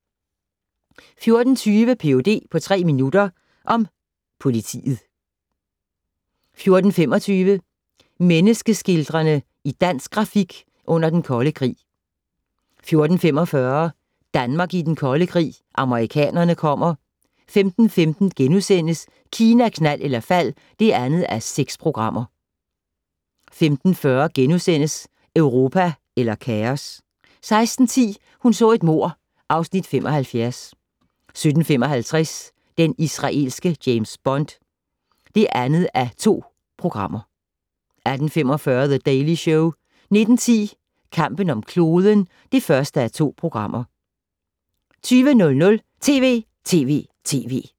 14:20: Ph.d. på tre minutter - om politiet 14:25: Menneske-skildrerne i dansk grafik under Den Kolde Krig 14:45: Danmark i Den Kolde Krig, amerikanerne kommer 15:15: Kina, knald eller fald (2:6)* 15:40: Europa eller kaos? * 16:10: Hun så et mord (Afs. 75) 17:55: Den israelske James Bond (2:2) 18:45: The Daily Show 19:10: Kampen om kloden (1:2) 20:00: TV!TV!TV!